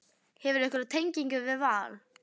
Hefurðu einhverja tengingu við Val?